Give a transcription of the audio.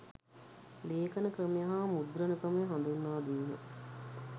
ලේඛන ක්‍රමය හා මුද්‍රණ ක්‍රමය හඳුන්වාදීම